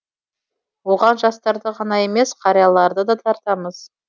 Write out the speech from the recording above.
оған жастарды ғана емес қарияларды да тартамыз